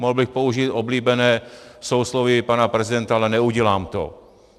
Mohl bych použít oblíbené sousloví pana prezidenta, ale neudělám to.